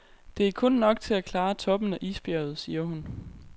Det er kun nok til at klare toppen af isbjerget, siger hun.